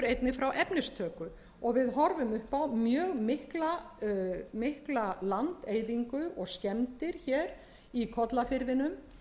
einnig frá efnistöku og við horfum upp á mjög mikla landeyðingu og skemmdir hér í kollafirðinum